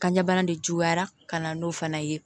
Kan ɲɛbana de juguyara ka na n'o fana ye